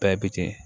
Bɛɛ bɛ ten